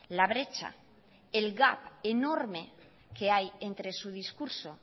la brecha el gap enorme que hay entre su discurso